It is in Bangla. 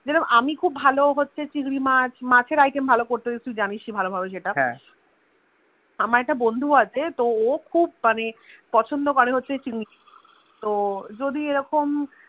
জেরোম আমি খুব ভালো হচ্ছে চিংড়ি মাছ মাছ এর আইটেম ভালো করতে পারি তুই হজানিস হলো ভাবে সেটা আমার একটা বন্ধু আছে তো ও খুব মানে পছন্দ করে চিংড়ি তো যদি রকম